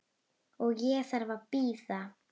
Ég þarf ekki að bíða.